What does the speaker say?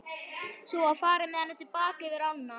Svo var farið með hana til baka yfir ána.